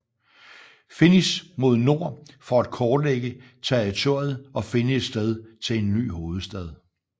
Finniss mod nord for at kortlægge territoriet og finde et sted til en ny hovedstad